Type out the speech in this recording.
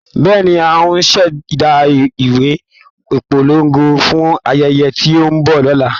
Bẹ́ẹ̀ni, ń ò ṣ'èdá ìwé ìpolongo fún ayẹyẹ tí ó ń bọ̀ lọ́nà.